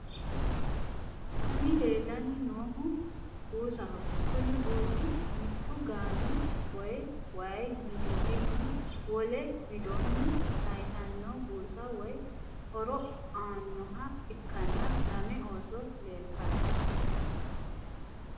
Kuni leellanni noohu buusaho kuni buusu mittu gami woy waayi widiiddinni wole widoonni saaysanno busa woy horo aannoha ikkanna lame ooso leeltanno.